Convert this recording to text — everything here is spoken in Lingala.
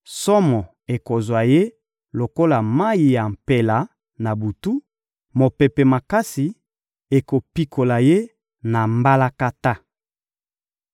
Somo ekozwa ye lokola mayi ya mpela; na butu, mopepe makasi ekopikola ye na mbalakata.